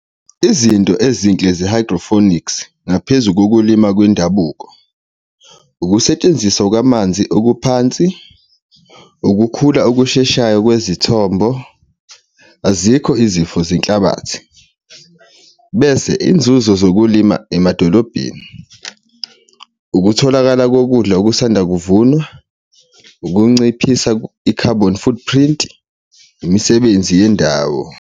Izinto ezinhle ze-hydrophonics ngaphezu kokulima kwendabuko, ukusetshenziswa kwamanzi okuphansi, ukukhula okusheshayo kwezithombo, azikho izifo zehlabathi. Bese izinzuzo zokulima emadolobheni, ukutholakala kokudla okusanda kuvunwa, ukunciphisa i-carbon footprint, imisebenzi yendawo.